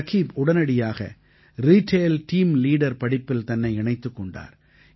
ரகீப் உடனடியாக retail team leader படிப்பில் தன்னை இணைத்துக் கொண்டார்